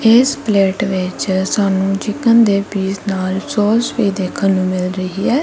ਇਸ ਪਲੇਟ ਵਿੱਚ ਸਾਨੂੰ ਚਿਕਨ ਦੇ ਪੀਸ ਨਾਲ ਸੋਸ ਵੀ ਦੇਖਣ ਨੂੰ ਮਿਲ ਰਹੀ ਐ।